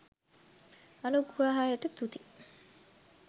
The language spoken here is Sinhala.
අනුග්‍රහයට තුති.